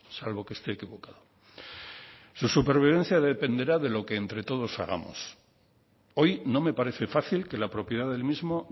salvo que esté equivocado su supervivencia dependerá de lo que entre todos hagamos hoy no me parece fácil que la propiedad del mismo